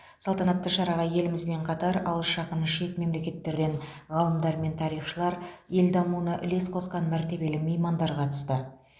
салтанатты шараға елімізбен қатар алыс жақын шет мемлекеттерден ғалымдар мен тарихшылар ел дамуына үлес қосқан мәртебелі меймандар қатысты